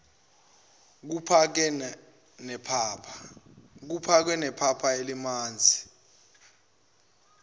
kuphake nepapa elimanzi